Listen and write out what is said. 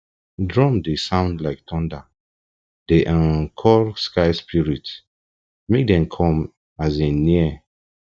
drum dey sound like thunder dey um call sky spirit make dem come um near